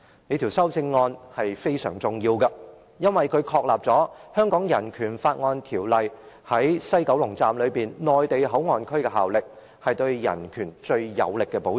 "這項修正案非常重要，因為它確立《香港人權法案條例》在西九龍站內地口岸區的效力，是對人權最有力的保障。